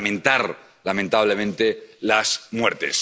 lamentar, lamentablemente, las muertes.